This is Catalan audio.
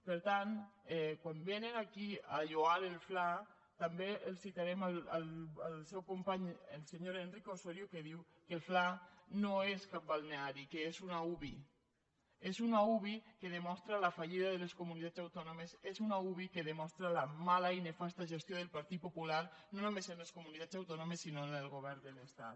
per tant quan vénen aquí a lloar el fla també els citarem el seu company el senyor enrique osorio que diu que el fla no és cap balneari que és una uvi és una uvi que demostra la fallida de les comunitats autònomes és una uvi que demostra la mala i nefasta gestió del partit popular no només en les comunitats autònomes sinó en el govern de l’estat